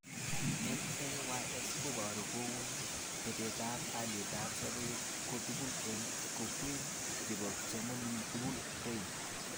LAYS koboru kou betetab alietab sobet kotugul eng koykeny chebo kipsomanink tugul rain